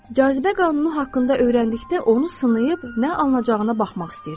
Cazibə qanunu haqqında öyrəndikdə onu sınayıb nə alınacağına baxmaq istəyirdim.